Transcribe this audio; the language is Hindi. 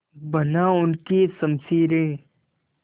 बना उनकी शमशीरें